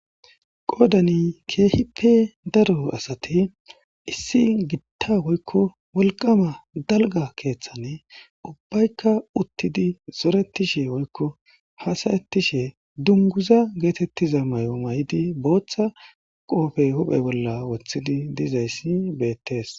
Qoodani keehippe daro asati issi gitta woykko wolqama dalga keeththani ubbaykka uttidi zoretishe woykko hasayettishe dunguza geetettiza may7o may7idi booththa qoofe huphe bolla wothidi dizayssi beettees.